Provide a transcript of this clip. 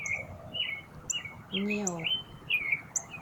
нео